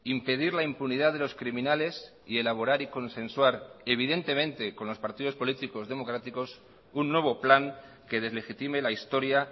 impedir la impunidad de los criminales y elaborar y consensuar evidentemente con los partidos políticos democráticos un nuevo plan que deslegitime la historia